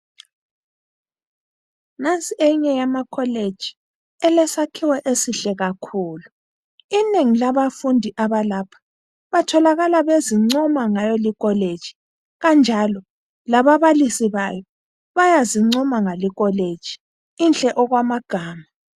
Nansi eyinye yamakholeji elesakhiwo esihle kakhulu. Inengi labafundi abalapha batholakala bezincoma ngayolikholeji kanjalo lababalisi bayo bayazincoma ngalikholeji inhle okwamagama.